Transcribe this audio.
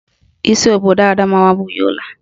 Isi obodo Adamawa bụ Yola